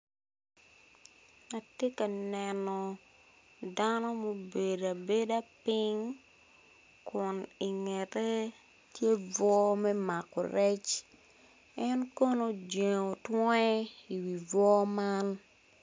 Atye ka neno dano mobedo abeda ping kun ingete tye bungo me mako rec en kono ojengo twonge i bungo man.